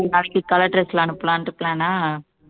நாளைக்கு color dress ல அனுப்பலாம்னுட்டு plan ஆ